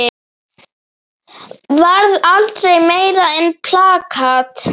Varð aldrei meira en plakat.